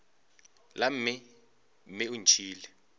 la mme mme o ntšhiile